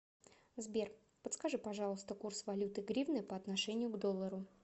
сбер подскажи пожалуйста курс валюты гривны по отношению к доллару